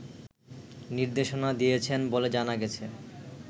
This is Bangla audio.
নির্দেশনা দিয়েছেন বলে জানা গেছে